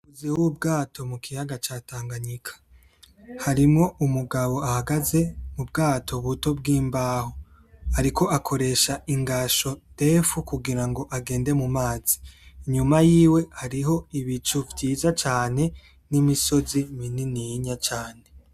Huzuyeho ubwato mukiyaga ca Tanganyika. Harimwo umugabo ahagaze mubwato buto bwimbaho, ariko akoresha ingasho ndefu kugirango agende mu mazi. Inyuma yiwe hariho ibicu vyiza cane, nimisozi minininya cane.